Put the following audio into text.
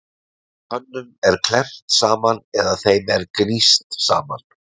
Tönnum er klemmt saman eða þeim er gníst saman.